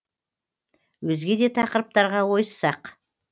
өзге де тақырыптарға ойыссақ